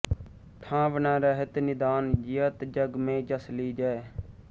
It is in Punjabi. ਠਾਂਵ ਨ ਰਹਤ ਨਿਦਾਨ ਜਿਯਤ ਜਗ ਮੇਂ ਜਸ ਲੀਜੈ